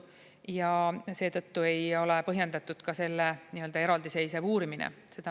Ja seetõttu ei ole põhjendatud selle nii-öelda eraldiseisev uurimine.